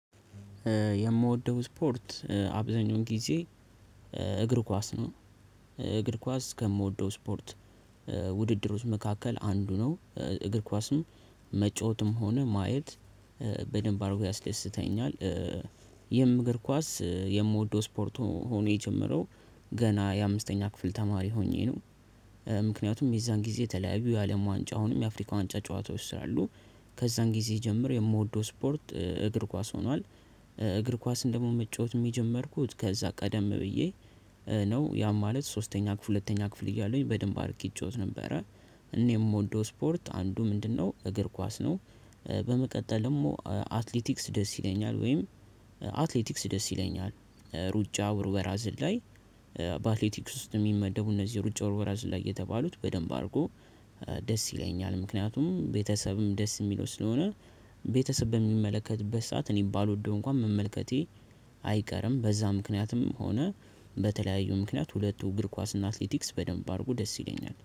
የምወደው ስፖርት አብዛኛውን ጊዜ እግር ኳስ ነው። እግር ኳስ ከምወደው ስፖርት። ውድድሮች መካከል አንዱ ነው እግር ኳስም መጫወትም ሆነ ማየት በደንብ አድርጎ ያስደንስተኛልል። ይህም እግር ኳስ የምወደው ስፖርት ሆኖ የጀመረው ገና የአምስተኛ ክፍል ተማሪ ሆኜ ነው። ምክንያቱም የዛን ጊዜ ተለያዩ የአለም ዋንጫ አሁንም የአፍሪካ ዋንጫ ጨዋታ ስላሉ ከዛን ጊዜ ጀምር የምወደው ስፖርት እግር ኳስ ሆኗል። እግር ኳስን ደግሞ መጫወትም የጀመርኩት ከዛ ቀደም ብዬ ነው ያም ማለት ሶስተኛ ክፍል ሁለተኛ ክፍል እያለሁኝ በደንብ አድርጌ እጫወት ነበረ። እኔ የምወደው ስፖርት አንዱ ምንድን ነው? እግር ኳስ ነው። በመቀጠል ደግሞ አትሌቲክስ ደስ ይለኛል። ወይም አትሌቲክስ ደስ ይለኛል ሩጫ ውርወራ ዝላይ በአትሌቲክስ ውስጥ የሚመደቡ እነዚህ ሩጫ ውርወራ ዝላይ የተባሉት በደንብ አድርጎ ደስ ይለኛል። ምክንያቱም ቤተሰብም ደስ የሚለው ስለሆነ ቤተሰብ በሚመለከትበት ሰዓት እኔ ባልወደው እንኳን መመልከቴ አይቀርም። በዛ ምክንያትም ሆነ በተለያዩ ምክንያት ሁለቱ እግር ኳስ እና አትሌቲክስ በደንብ አድርጎ ደስ ይለኛል